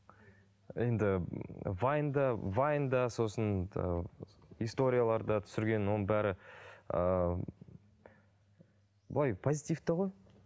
енді вайнда вайнда сосын ыыы историяларда түсірген оның бәрі ыыы былай позитивті ғой